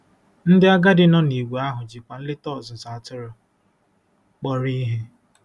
Ndị agadi nọ nìgwè ahụ jikwa nleta ọzụzụ atụrụ kpọrọ ihe.